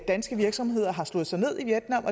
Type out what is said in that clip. danske virksomheder har slået sig ned i vietnam